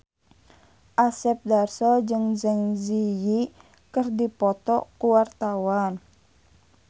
Asep Darso jeung Zang Zi Yi keur dipoto ku wartawan